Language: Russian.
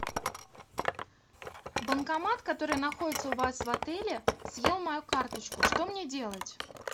банкомат который находится у вас в отеле съел мою карточку что мне делать